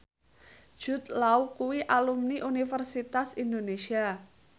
Jude Law kuwi alumni Universitas Indonesia